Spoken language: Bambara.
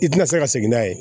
I tɛna se ka segin n'a ye